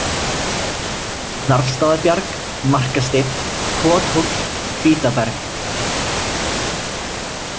Narfstaðabjarg, Markasteinn, Kothóll, Hvítaberg